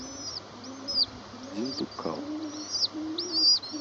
диндуккал